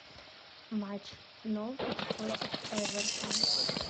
матч норвич против эвертон